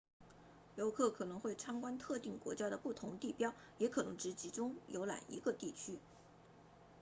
游客可能会参观特定国家的不同地标也可能只集中游览一个地区